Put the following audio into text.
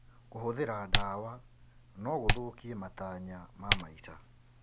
Kũhũthĩra ndawa no gũthũkie matanya ma maica.